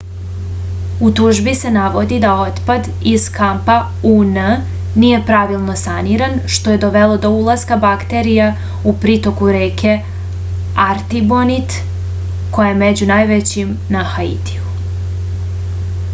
u tužbi se navodi da otpad iz kampa un nije pravilno saniran što je dovelo do ulaska bakterija u pritoku reke artibonit koja je među najvećim na haitiju